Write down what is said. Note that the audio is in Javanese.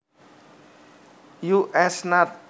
U S Nat